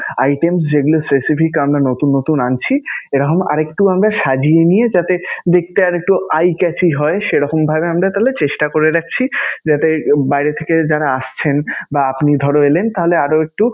items যেগুলো specifics আমরা নতুন নতুন আনছি এরকম আর একটু আমরা সাজিয়ে নিয়ে যাতে দেখতে আর একটু eye chachy হয় সেরকমভাবে আমরা তাহলে চেষ্টা করে দেখছি, যাতে বাইরে থেকে যারা আসছেন বা আপনি ধরো এলেন তাহলে আরও একটু